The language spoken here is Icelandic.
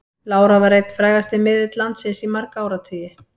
Lára var einn frægasti miðill landsins í marga áratugi.